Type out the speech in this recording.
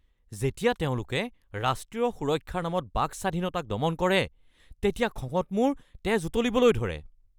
যেতিয়া তেওঁলোকে ৰাষ্ট্ৰীয় সুৰক্ষাৰ নামত বাক স্বাধীনতাক দমন কৰে তেতিয়া খঙত মোৰ তেজ উতলিবলৈ ধৰে।